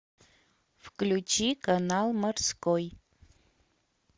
включи канал морской